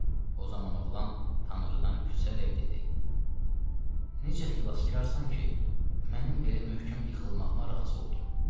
O zaman oğlan Tanrıdan küsərək dedi: "Necə xilaskarsan ki, mənim belə möhkəm yıxılmağıma razı oldun?"